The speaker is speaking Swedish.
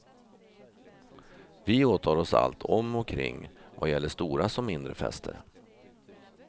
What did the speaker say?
Vi åtar oss allt om och kring vad gäller stora som mindre fester.